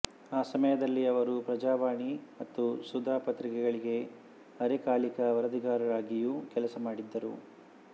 ಆ ಸಮಯದಲ್ಲಿ ಅವರು ಪ್ರಜಾವಾಣಿ ಮತ್ತು ಸುಧಾ ಪತ್ರಿಕೆಗಳಿಗೆ ಅರೆಕಾಲಿಕ ವರದಿಗಾರರಾಗಿಯೂ ಕೆಲಸ ಮಾಡಿದ್ದರು